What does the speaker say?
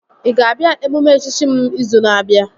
Ị ga-abịa emume echichi m izu na-abịa?